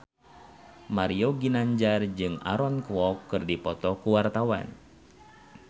Mario Ginanjar jeung Aaron Kwok keur dipoto ku wartawan